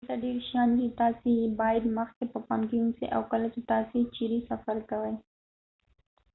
دلته ډیر شیان دي چې تاسي یې باید مخکې په پام کې ونیسئ او کله چې تاسي چیرې سفر کوئ